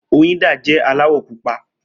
Oyinda jẹ́ aláwọ̀ pupa.